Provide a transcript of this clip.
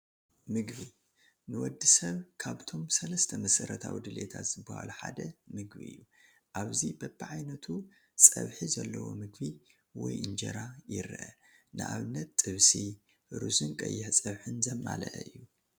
ምግቢ፡- ንወዲ ሰብ ካብቶም 3 መሰረታዊ ድልየታት ዝባሃሉ ሓደ ምግቢ እዩ፡፡ ኣብዚ በቢዓይነቱ ፀብሒ ዘለዎ ምግቢ ወይ እንጀራ ይረአ፡፡ ንኣብነት ጥብሲ፣ ሩዝን ቀይሕ ፀብሕን ዘማልአ እዩ፡፡